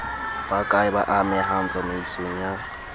bakae ba amehang tsamaisong ya